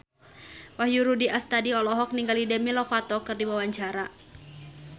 Wahyu Rudi Astadi olohok ningali Demi Lovato keur diwawancara